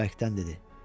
Bərkdən dedi.